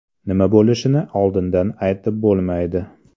Nima bo‘lishini oldindan aytib bo‘lmaydi.